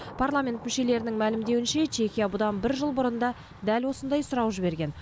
парламент мүшелерінің мәлімдеуінше чехия бұдан бір жыл бұрын да дәл осындай сұрау жіберген